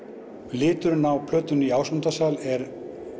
liturinn á plötunum í Ásmundarsal er